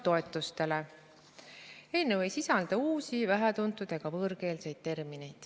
Eelnõu ei sisalda uusi, vähetuntud ega võõrkeelseid termineid.